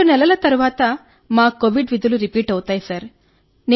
2 నెలల తరువాత మా కోవిడ్ విధులు రిపీట్ అవుతాయి సార్